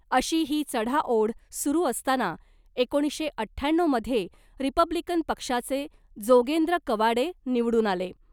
अशी ही चढाओढ सुरु असताना एकोणीसशे अठ्ठ्याण्णवमध्ये रिपब्लिकन पक्षाचे जोगेंद्र कवाडे निवडून आले .